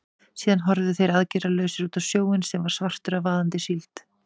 Síðan horfðu þeir aðgerðalausir út á sjóinn, sem var svartur af vaðandi síld.